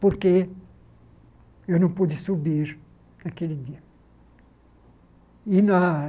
Porque eu não pude subir naquele dia. E na